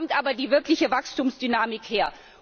Da kommt aber die wirkliche Wachstumsdynamik her.